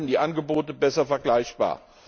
Dadurch werden die Angebote besser vergleichbar.